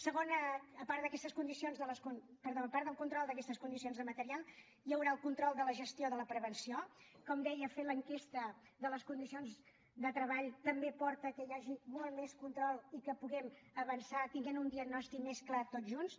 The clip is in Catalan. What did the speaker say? segona a part del control d’aquestes condicions de material hi haurà el control de la gestió de la prevenció com deia fer l’enquesta de les condicions de treball també porta que hi hagi molt més control i que puguem avançar tenint un diagnòstic mes clar tots junts